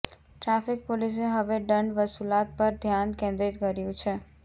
traffic પોલીસે હવે દંડ વસુલાત પર ધ્યાન કેન્દ્રીત કર્યું છે